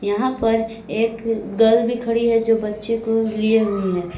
यहां पर एक गर्ल भी खड़ी है जो बच्चे को लिए हुई है।